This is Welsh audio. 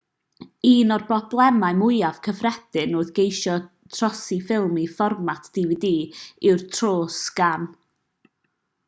un o'r problemau mwyaf cyffredin wrth geisio trosi ffilm i fformat dvd yw'r tros-sgan